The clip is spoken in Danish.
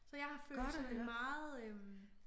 Så jeg har følt sådan meget øh